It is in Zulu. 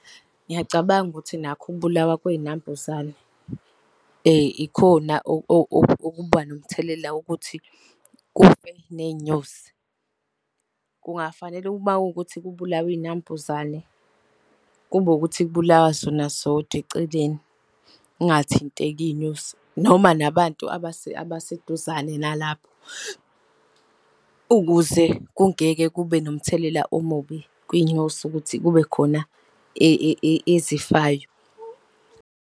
Ngiyacabanga ukuthi nakho ukubulawa kwey'nambuzane ikhona okuba nomthelela wokuthi kufe ney'nyosi. Kungafanele uma kuwukuthi kubulawa iy'nambuzane kube ukuthi kubulawa sona sodwa eceleni, kungathinteki iy'nyosi, noma nabantu abaseduzane nalapho. Ukuze kungeke kube nomthelela omubi kwiy'nyosi ukuthi kubekhona ezifayo.